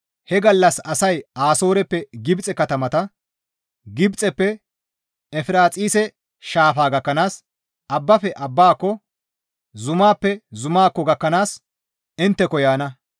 He gallas asay Asooreppe Gibxe katamata, Gibxeppe Efiraaxise shaafa gakkanaas, abbafe abbaako, zumaappe zumaakko gakkanaas intteko yaana.